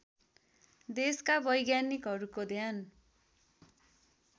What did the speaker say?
देशका वैज्ञानिकहरूको ध्यान